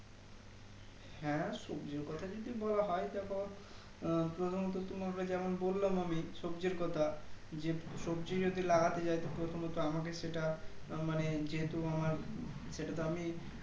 হ্যাঁ সবজির কথা যদি বলা হয় দেখো আহ প্রথমত তোমাকে যেমন বললাম আমি সবজির কথা যে সবজি যদি লাগাতে যাই প্রথমত আমাকে সেটা মানে যেহেতু আমার সেটাতো আমি